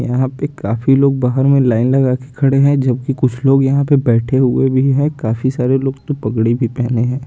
यहाँ पे काफी लोग बाहर में लाइन लगा के खड़े हैं जबकि कुछ लोग यहाँ पे बैठे हुए भी हैं काफी सारे लोग तो पगड़ी भी पहने हैं।